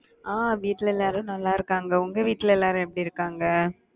ஆஹ் வீட்டுல எல்லாரும் நல்லா இருக்காங்க. உங்க வீட்டுல எல்லாரும் எப்படி இருக்காங்க?